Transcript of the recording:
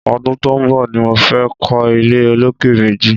Ọdùn tó n bọ ni mó fè kọ ilé ólóké méji